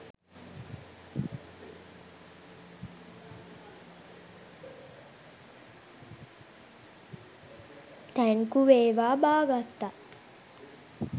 thank you වේවා බා ගත්තා